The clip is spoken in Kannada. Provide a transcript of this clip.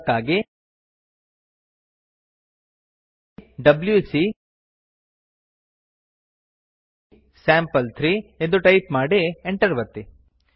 ಅದಕ್ಕಾಗಿ ಡಬ್ಯೂಸಿ ಸ್ಯಾಂಪಲ್3 ಎಂದು ಟೈಪ್ ಮಾಡಿ enter ಒತ್ತಿ